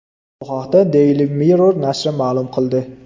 Bu haqda Daily Mirror nashri ma’lum qil di .